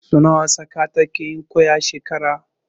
Sau nawa tsaka takeyin kwai a shekara?